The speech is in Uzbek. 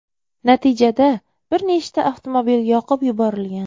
Natijada bir nechta avtomobil yoqib yuborilgan.